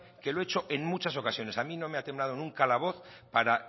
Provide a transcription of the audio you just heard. que lo he hecho en muchas ocasiones a mí no me ha temblado nunca la voz para